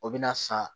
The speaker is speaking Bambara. O bɛ na san